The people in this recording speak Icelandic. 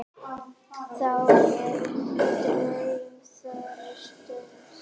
Þá er drauma þrotin stund.